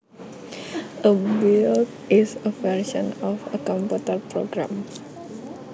A build is a version of a computer program